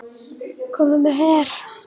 Kominn með her!